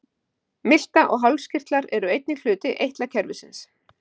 Milta og hálskirtlar eru einnig hluti eitlakerfisins.